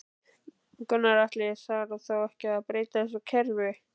Gunnar Atli: Þarf þá ekki að breyta þessu kerfi?